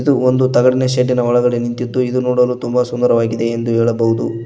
ಇದು ಒಂದು ತಗಡಿ ಶೇಡ್ಡಿ ನ ಒಳಗಡೆ ನಿಂತಿದ್ದು ಇದು ನೋಡಲು ತುಂಬಾ ಸುಂದರವಾಗಿದೆ ಎಂದು ಹೇಳಬಹುದು.